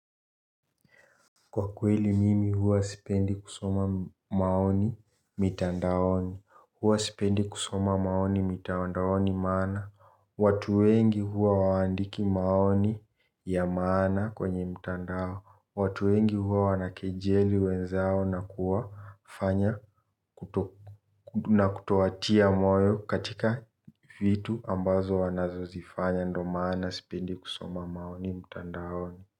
Kwa kweli mimi huwa sipendi kusoma maoni mitandaoni. Huwa sipendi kusoma maoni mitandaoni maana watu wengi huwa hawaandiki maoni ya maana kwenye mitandao. Watu wengi huwa wanakejeli wenzao na kutowatia moyo katika vitu ambazo wanazo zifanya ndo maana sipendi kusoma maoni mitandaoni.